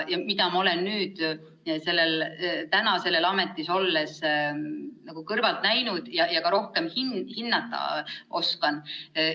Mida ma olen nüüd selles ametis olles kõrvalt näinud ja ka rohkem hinnata oskan?